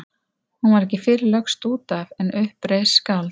Hún var ekki fyrr lögst út af en upp reis skáld.